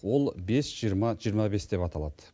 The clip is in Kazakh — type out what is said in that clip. ол бес жиырма жиырма бес деп аталады